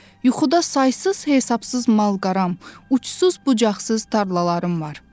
Yuxuda saysız-hesabsız mal-qaram, uçsuz-bucaqsız tarlalarım var.